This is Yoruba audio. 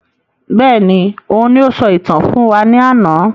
Bẹ́ẹ̀ni, òun ní o sọ ìtàn fún wa ní àna